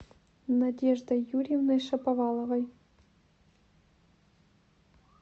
надеждой юрьевной шаповаловой